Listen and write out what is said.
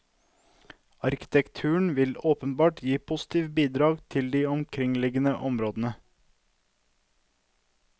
Arkitekturen vil åpenbart gi positive bidrag til de omkringliggende områdene.